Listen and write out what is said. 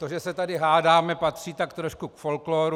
To, že se tady hádáme, patří tak trošku k folkloru.